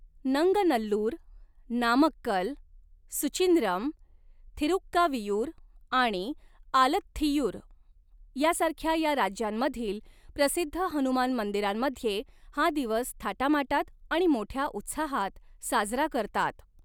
नंगनल्लूर, नामक्कल, सुचिंद्रम, थिरुक्कावीयूर आणि आलथ्थियूर यासारख्या या राज्यांमधील प्रसिद्ध हनुमान मंदिरांमध्ये हा दिवस थाटामाटात आणि मोठ्या उत्साहात साजरा करतात.